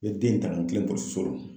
N be den ta ka n kilen pilisiso la.